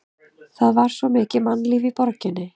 Það var mikið mannlíf í borginni.